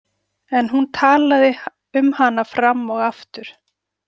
En hún talaði um hana fram og aftur.